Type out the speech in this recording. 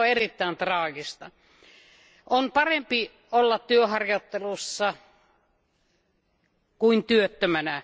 Se on erittäin traagista. On parempi olla työharjoittelussa kuin työttömänä.